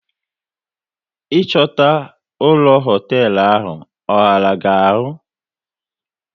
Ị chọta ụlọ hoteelu ahụ, ọ ghara gị ahụ?